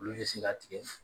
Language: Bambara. Olu bɛ se ka tigɛ